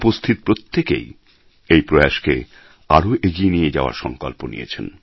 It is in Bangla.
উপস্থিত প্রত্যেকেই এই প্রয়াসকে আরও এগিয়ে নিয়ে যাওয়ার সংকল্প নিয়েছেন